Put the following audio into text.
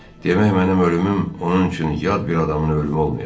Demək mənim ölümüm onun üçün yad bir adamın ölümü olmayacaq.